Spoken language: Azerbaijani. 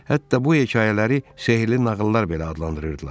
Hətta bu hekayələri sehrli nağıllar belə adlandırırdılar.